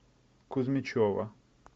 кузьмичева